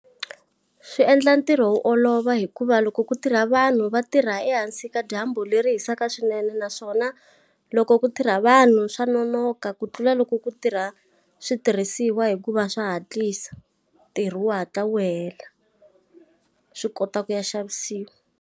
Swi endla ntirho wu olova hikuva loko ku tirha vanhu va tirha ehansi ka dyambu leri hisaka swinene naswona, loko ku tirha vanhu swa nonoka ku tlula loko ku tirha switirhisiwa hikuva swa hatlisa. Ntirho wu hatla wu hela, swi kota ku ya xavisiwa.